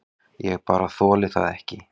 Ég bara þoli það ekki.